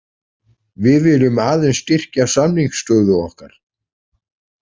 Við viljum aðeins styrkja samningsstöðu okkar.